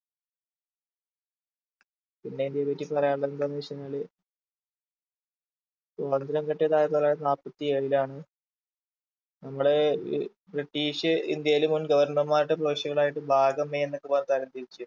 പിന്നെ ഇന്ത്യയെ പറ്റി പറയാനുള്ളതെന്താന്നു വെച്ചു കഴിഞ്ഞാല് സ്വാതന്ത്രം കിട്ടിയത് ആയിരത്തി തൊള്ളായിരത്തി നാല്പത്തിയേഴിലാണ് നമ്മള് ഏർ British ഇന്ത്യയിൽ മുൻ governor മാരുടെ പ്രവിശ്യകളായിട്ട് ഭാഗം a എന്നൊക്കെ പറഞ്ഞു തരം തിരിച്ചു